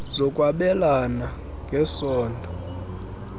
zokwabelana ng esondo